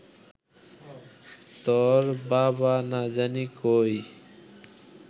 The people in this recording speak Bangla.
তর বাবা না জানি কই